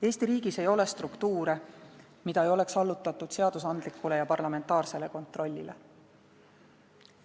Eesti riigis ei ole struktuure, mida ei oleks allutatud seadusandlikule ja parlamentaarsele kontrollile.